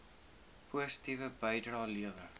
positiewe bydrae lewer